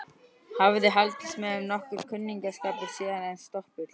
Hafði haldist með þeim nokkur kunningsskapur síðan, en stopull.